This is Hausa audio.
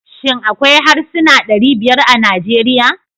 Shin akwai harsuna ɗari biyar a Najeriya?